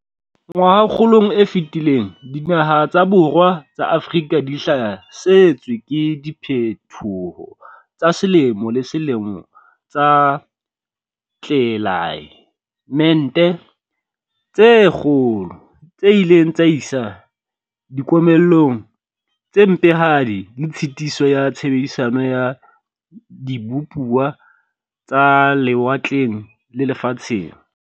"Ngwahakgolong e fetileng dinaha tsa borwa ba Afrika di hlasetswe ke diphethoho tsa selemo le selemo tsa tlelae mete tse kgolo, tse ileng tsa isa dikomellong tse mpehadi le tshitiso ya tshebedisano ya dibupuwa tsa lewatleng le lefatsheng."